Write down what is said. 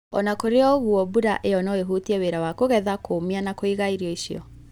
O na kũrĩ ũguo, mbura ĩyo no ĩhutie wĩra wa kũgetha, kũũmia na kũiga irio icio.